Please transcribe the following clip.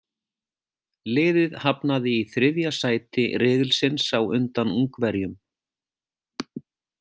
Liðið hafnaði í þriðja sæti riðilsins á undan Ungverjum.